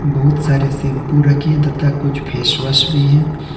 बहुत सारे शैंपू रखें तथा कुछ फेस वॉश भी है।